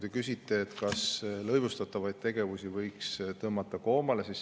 Te küsisite, kas lõivustatavaid tegevusi võiks tõmmata koomale.